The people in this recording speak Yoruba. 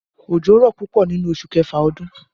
Òjò rọ̀ púpọ̀ nínú oṣù kẹfà ọdún